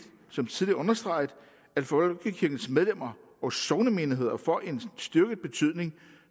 som tidligere understreget at folkekirkens medlemmer og sognemenigheder får en styrket betydning